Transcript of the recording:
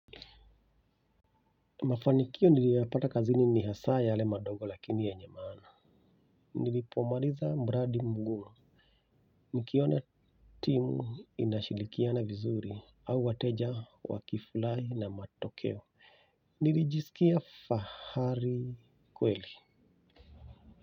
Mafanikio niliyapata kazini ni hasa yale madongo lakini yenye maana. Nilipomaliza mradi mgumu nikiona timu inashirikiana vizuri au wateja wa kifurahi na matokeo. Nilijisikia fahari kweli.